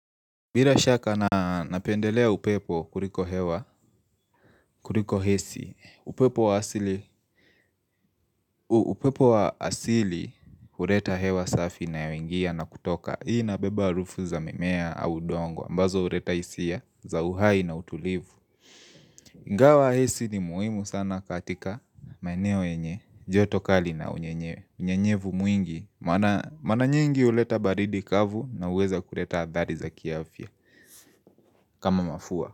Bila shaka napendelea upepo kuliko hewa, kuliko AC, upepo wa asili, upepo wa asili, huleta hewa safi inayoingia na kutoka. Hii inabeba harufu za mimea au udongo, ambazo huleta hisia za uhai na utulivu. Ingawa AC ni muhimu sana katika maeneo yenye, joto kali na unyenye, unyenyevu mwingi. Mara nyingi huleta baridi kavu na huweza kuleta athari za kiafya kama mafua.